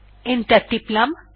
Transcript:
enter টিপলাম